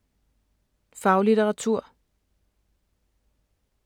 Faglitteratur